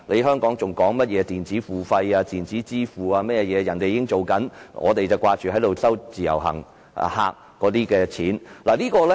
香港現在討論的電子付費或電子支付，內地早已實行，因為我們只顧賺自由行旅客的錢。